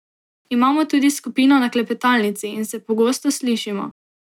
Imamo tudi skupino na klepetalnici in se pogosto slišimo.